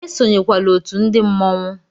Esonyekwala otú ndi mmọnwu!